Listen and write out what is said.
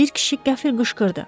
Bir kişi qəfil qışqırdı.